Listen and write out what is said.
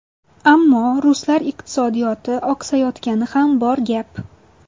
Ammo ruslar iqtisodiyoti oqsayotgani ham bor gap.